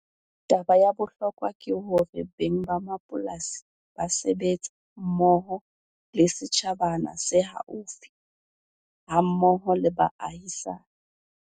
Taba ya bohlokwa ke hore beng ba mapolasi ba sebetse mmoho le setjhabana se haufi, hammoho le baahisani.